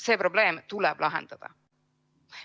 See probleem tuleb lahendada.